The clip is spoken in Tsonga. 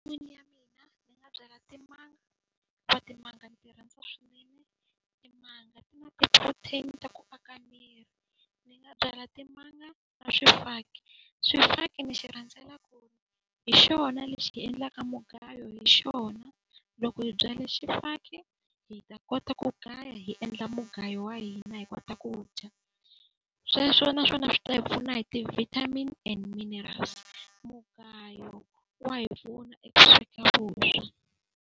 ya mina ni nga byala timanga hikuva timanga ni ti rhandza swinene. Timanga ti na ti-protein ta ku aka miri. Ni nga byala timanga ni swifaki. Swifaki ni xi rhandzela ku hi xona lexi hi endlaka mugayo hi xona. Loko hi byala xifaki hi ta kota ku gaya hi endla mugayo wa hina hi kota ku dya. Sweswo naswona swi ta hi pfuna hi ti-vitamin minerals. Mugayo wa hi pfuna eku sweka vuswa.